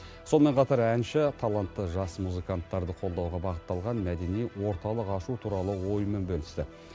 сонымен қатар әнші талантты жас музыканттарды қолдауға бағытталған мәдени орталық ашу туралы ойымен бөлісті